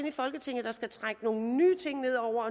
i folketinget der skal trække nogle nye ting ned over